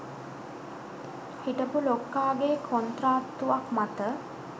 හිටපු ලොක්කාගේ කොන්ත්‍රාත්තුවක් මත